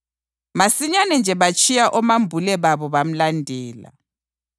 Masinyane nje batshiya omambule babo bamlandela.